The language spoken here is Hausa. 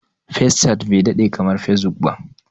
Fescat bai daɗe kamar Fesbuk ba.